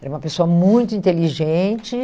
Era uma pessoa muito inteligente.